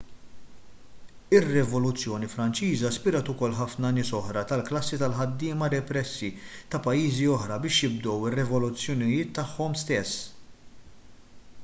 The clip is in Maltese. ir-rivoluzzjoni franċiża spirat ukoll ħafna nies oħra tal-klassi tal-ħaddiema repressi ta' pajjiżi oħra biex jibdew ir-revoluzzjonijiet tagħhom stess